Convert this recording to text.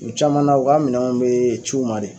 U caman na u ka minɛnw be c'u ma de